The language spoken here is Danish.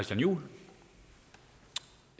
nu